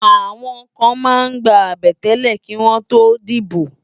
Àwòn kán má n gbá àbètélè kiwòn tó dibó